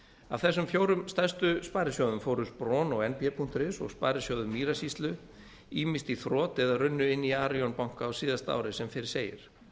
af þessum fjórum stærstu sparisjóðum fóru spron og nb punktur is og sparisjóður mýrasýslu ýmist í þrot eða runnu inn í arion banka á síðasta ári sem fyrr segir